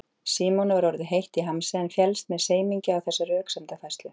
Símoni var orðið heitt í hamsi en féllst með semingi á þessa röksemdafærslu.